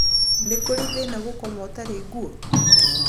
Nĩ kũrĩ thĩna gũkoma ũtarĩ ngũo?